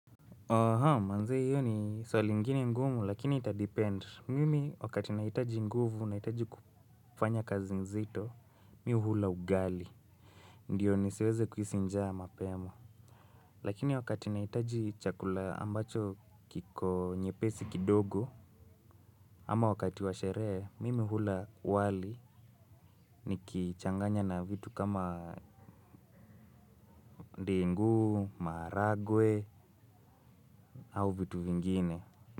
Aha manze hiyo ni swali ingine ngumu lakini ita depend mimi wakati nahitaji nguvu nahitaji kufanya kazi nzito mimi hula ugali. Ndio nisiweze kuhisi njaa mapema. Lakini wakati nahitaji chakula ambacho kiko nyepesi kidogo. Ama wakati wa sherehe mimi hula wali nikichanganya na vitu kama ndengu maharagwe au vitu vingine.